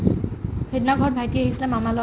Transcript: সিদিনা ঘৰত ভাইটি আহিছিলে মামাৰ ল'ৰা